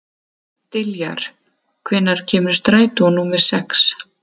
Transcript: Diljar, hvenær kemur strætó númer sex?